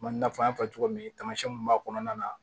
Komi n y'a fɔ n y'a fɔ cogo min na tamasiyɛn mun b'a kɔnɔna na